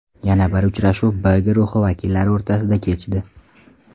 Yana bir uchrashuv B guruhi vakillari o‘rtasida kechdi.